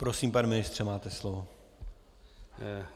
Prosím, pane ministře, máte slovo.